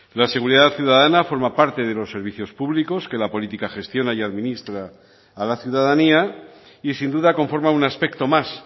la seguridad ciudadana forma parte de los servicios públicos que la política gestiona y administra a la ciudadanía y sin duda conforma un aspecto más